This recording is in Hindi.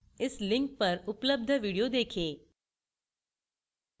इस लिंक पर उपलब्ध video देखें